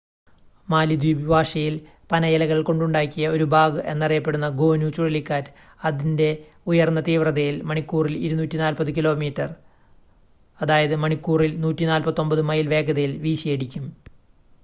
മാലിദ്വീപ് ഭാഷയിൽ പനയിലകൾ കൊണ്ടുണ്ടാക്കിയ ഒരു ബാഗ് എന്ന് അറിയപ്പെടുന്ന 'ഗോനു' ചുഴലിക്കാറ്റ് അതിന്റെ ഉയർന്ന തീവ്രതയിൽ മണിക്കൂറിൽ 240 കിലോമീറ്റർ മണിക്കൂറിൽ 149 മൈൽ വേഗതയിൽ വീശിയടിക്കും